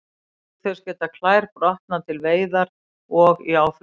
Auk þess geta klær brotnað við veiðar og í áflogum.